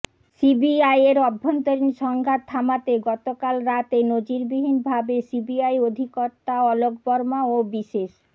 সিবিআইয়ের অভ্যন্তরীণ সংঘাত থামাতে গত কাল রাতে নজিরবিহীন ভাবে সিবিআই অধিকর্তা অলোক বর্মা ও বিশেষ